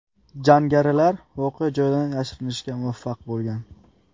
Jangarilar voqea joyidan yashirinishga muvaffaq bo‘lgan.